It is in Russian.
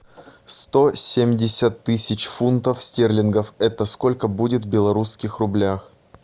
сто семьдесят тысяч фунтов стерлингов это сколько будет в белорусских рублях